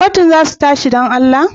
Kotun za su tashi, don Allah?